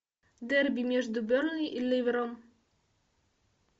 дерби между бернли и ливером